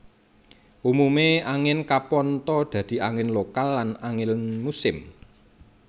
Umumé angin kapantha dadi angin lokal lan angin musim